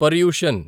Paryushan